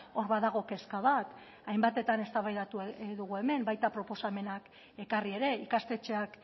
hor badago kezka bat hainbatetan eztabaidatu egin dugu hemen baita proposamenak ekarri ere ikastetxeak